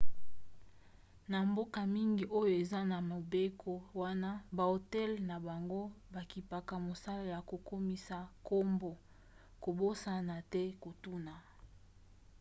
na bamboka mingi oyo eza na mobeko wana bahotel na bango bakipaka mosala ya kokomisa nkombo kobosana te kotuna